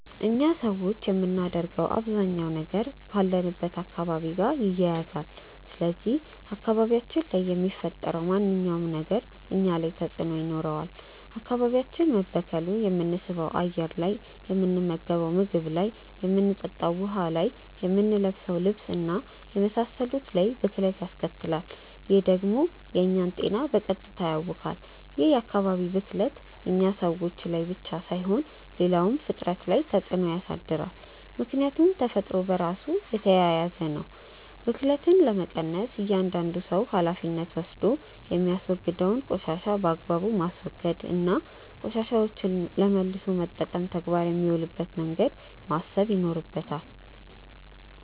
እኛ ሰዎች የምናደርገው አባዛኛው ነገር ካለንበት አካባቢ ጋር ይያያዛል። ስለዚህ አካባቢያችን ላይ የሚፈጠረው ማንኛውም ነገር እኛ ላይ ተጽእኖ ይኖረዋል። አካባቢያችን መበከሉ የምንስበው አየር ላይ፣ የምንመገንው ምግብ ላይ፣ የምንጠጣው ውሀ ላይ፣ የምንለብሰው ልብስ እና የመሳሰሉት ላይ ብክለት ያስከትላል። ይህ ደግሞ የእኛን ጤና በቀጥታ ያውካል። ይህ የአካባቢ ብክለት እኛ ሰዎች ላይ ብቻ ሳይሆን ሌላውም ፍጥረት ላይ ተፅእኖ ያሳድራል። ምክያቱም ተፈጥሮ በራሱ የተያያዘ ነው። ብክለትን ለመቀነስ እያዳንዱ ሰው ሀላፊነት ወስዶ የሚያወግደውን ቆሻሻ በአግባቡ ማስወገድ እና ቆሻሻዎችን ለመልሶ መጠቀም ተግባር የሚውልበትን መንገድ ማሰብ ይኖርበታል።